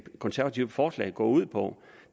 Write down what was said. konservative forslag går ud på